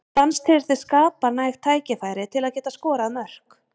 Fannst þér þið skapa næg tækifæri til að geta skorað mörk?